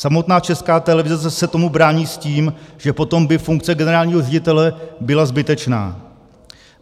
Samotná Česká televize se tomu brání s tím, že potom by funkce generálního ředitele byla zbytečná.